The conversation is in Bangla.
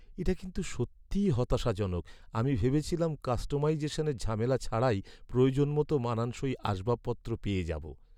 এটা কিন্তু সত্যিই হতাশাজনক, আমি ভেবেছিলাম কাস্টমাইজেশনের ঝামেলা ছাড়াই প্রয়োজন মতো মানানসই আসবাবপত্র পেয়ে যাব।